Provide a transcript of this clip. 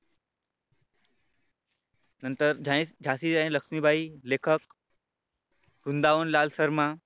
नंतर झाशीची राणी लक्ष्मीबाई लेखक वृंदावन लाल शर्मा.